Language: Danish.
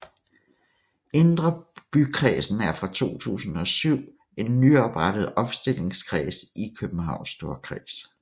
Indre Bykredsen er fra 2007 en nyoprettet opstillingskreds i Københavns Storkreds